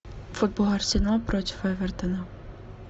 футбол арсенал против эвертона